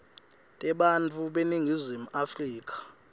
tebantfu beningizimu afrika